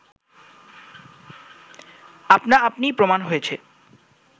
আপনা আপনিই প্রমাণ হয়েছে